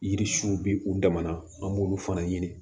Yiri su bɛ u dama na an b'olu fana ɲini